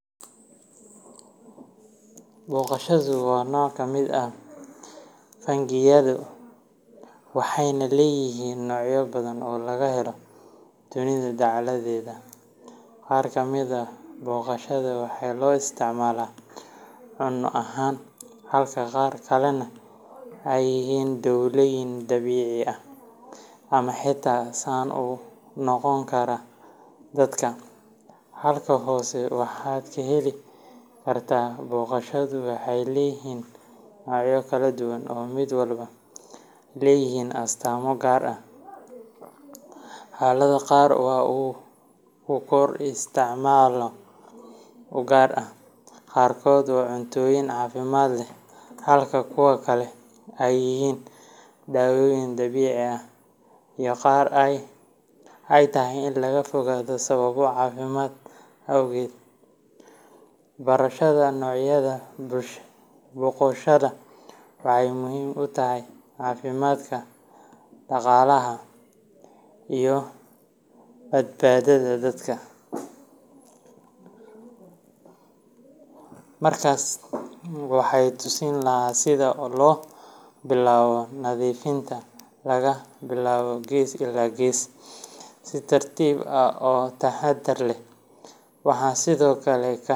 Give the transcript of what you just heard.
Boqoshaadu waa nooc ka mid ah fungi yada, waxayna leeyihiin noocyo badan oo laga helo dunida dacaladeeda. Qaar ka mid ah boqoshaada waxaa loo isticmaalaa cunno ahaan, halka qaar kalena yihiin daawooyin dabiici ah ama xitaa sun u noqon kara dadka. Halkan hoose waxaad ka heli kartaa Boqoshaadu waxay leeyihiin noocyo kala duwan oo mid walba leeyahay astaamo gaar ah, xaalado gaar ah oo uu ku koro, iyo isticmaalyo u gaar ah. Qaarkood waa cuntooyin caafimaad leh, halka kuwo kale ay yihiin dawooyin dabiici ah, iyo qaar ay tahay in laga fogaado sababo caafimaad awgeed. Barashada noocyada boqoshaada waxay muhiim u tahay caafimaadka, dhaqaalaha beerashada, iyo badbaadada dadka. Markaas waxaan tusi lahaa sida loo bilaabo nadiifinta laga bilaabo gees ilaa gees, si tartiib ah oo taxadar leh. Waxaan sidoo kale ka.